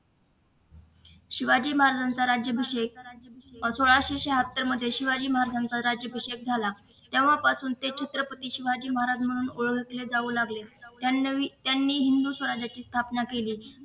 शिवाजी महाराजांचा राज्याभिषेक सोळाशे शहात्तर मध्ये शिवाजी महाराज्यांचा राज्याभिषेक झाला तेव्हापासून ते छत्रपती शिवाजी महाराज म्हणून ते ओळखले जाऊ लागले त्यांनी हिंदू स्वराज्याची स्थापना केली